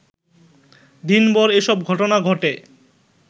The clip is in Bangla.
দিনভর এসব ঘটনা ঘটে